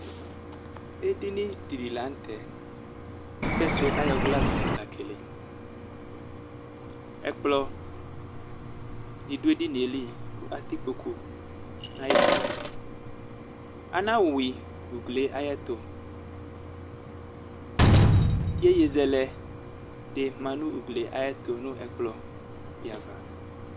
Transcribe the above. Edini di la nu tɛ ku fɛsrɛ ayɔ glasi la keleyi ɛkplɔ di du edinie li atɛ ikpoku nayitsɛdi anayui ugli ayɛtu yeye zɛlɛ ma nu uglie tu nu ɛkplɔdi ava